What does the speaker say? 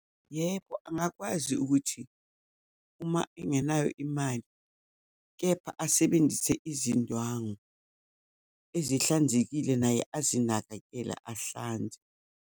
Yebo, angakwazi ukuthi uma engenayo imali, kepha asebenzise izindwangu ezihlanzekile, naye azinakekele, ahlanze.